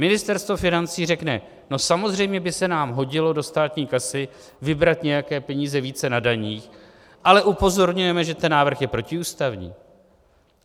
Ministerstvo financí řekne: No samozřejmě by se nám hodilo do státní kasy vybrat nějaké peníze více na daních, ale upozorňujeme, že ten návrh je protiústavní...